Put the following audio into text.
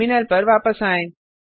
terminal पर वापस आएँ